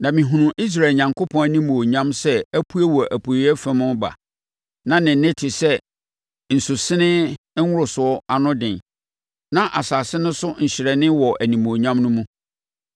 na mehunuu Israel Onyankopɔn animuonyam sɛ apue wɔ apueeɛ fam reba. Na ne nne te sɛ nsusenee nworosoɔ ano den, na asase no so hyerɛnee wɔ nʼanimuonyam no mu.